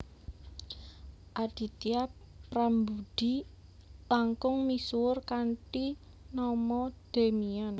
Aditya Prambudhi langkung misuwur kanthi nama Demian